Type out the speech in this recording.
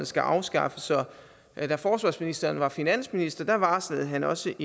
skal afskaffes så da forsvarsministeren var finansminister varslede han også